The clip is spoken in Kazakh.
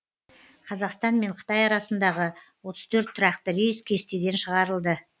қазақстан мен қытай арасындағы отыз төрт тұрақты рейс кестеден шығарылды